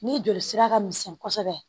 Ni joli sira ka misɛn kosɛbɛ